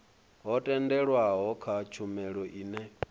ho tendelwaho kha tshumelo ine